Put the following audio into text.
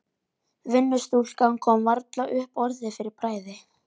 Vinnustúlkan kom varla upp orði fyrir bræði.